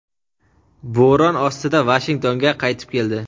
bo‘ron ostida Vashingtonga qaytib keldi.